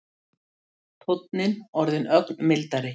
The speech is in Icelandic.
Tónninn orðinn ögn mildari.